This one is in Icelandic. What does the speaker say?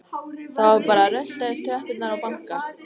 Það var bara að rölta upp tröppurnar og banka.